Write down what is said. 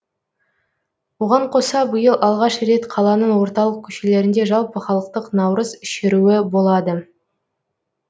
оған қоса биыл алғаш рет қаланың орталық көшелерінде жалпыхалықтық наурыз шеруі болады